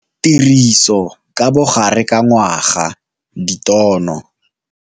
Tiriso ka bogare ka ngwaga ditono.